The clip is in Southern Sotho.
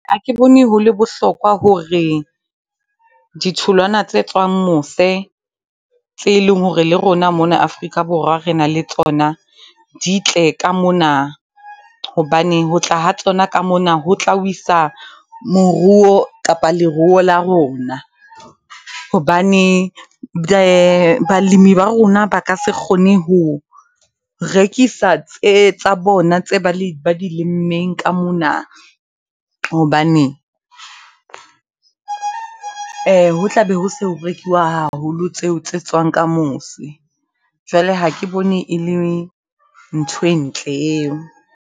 Ha ke bone ho le bohlokwa hore ditholwana tse tswang mose, tse e leng hore le rona mona Afrika Borwa re na le tsona di tle ka mona. Hobane ho tla ha tsona ka mona, ho tla wisa moruo kapa leruo la rona. Hobane balemi ba rona ba ka se kgone ho rekisa tse tsa bona tse ba ba di lemmeng ka mona, hobane ho tla be ho so ho rekiwa haholo tseo tse tswang ka mose. Jwale ha ke bone e le ntho e ntle eo.